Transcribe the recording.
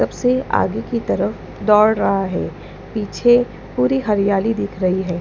सबसे आगे की तरफ दौड़ रहा है पीछे पूरी हरियाली दिख रही है।